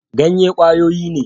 Ganye kwayoyi ne